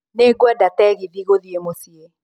Nĩ ngwenda tegithi gũthiĩ mũciĩ